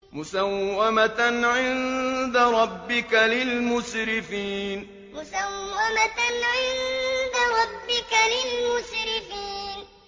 مُّسَوَّمَةً عِندَ رَبِّكَ لِلْمُسْرِفِينَ مُّسَوَّمَةً عِندَ رَبِّكَ لِلْمُسْرِفِينَ